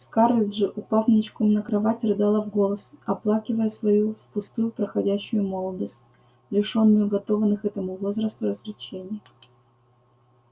скарлетт же упав ничком на кровать рыдала в голос оплакивая свою впустую проходящую молодость лишённую уготованных этому возрасту развлечений